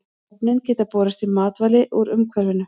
Efnin geta borist í matvæli úr umhverfinu.